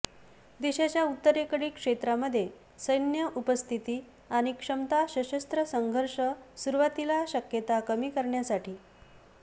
देशाच्या उत्तरेकडील क्षेत्रांमध्ये सैन्य उपस्थिती आणि क्षमता सशस्त्र संघर्ष सुरुवातीला शक्यता कमी करण्यासाठी